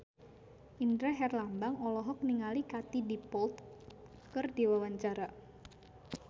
Indra Herlambang olohok ningali Katie Dippold keur diwawancara